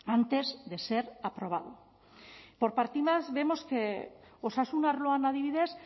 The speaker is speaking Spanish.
antes de ser aprobado por partidas vemos que osasun arloan adibidez